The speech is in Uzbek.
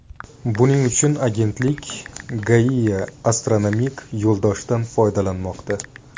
Buning uchun agentlik Gaia astronomik yo‘ldoshdan foydalanmoqda.